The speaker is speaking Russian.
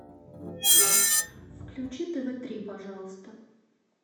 включи тв три пожалуйста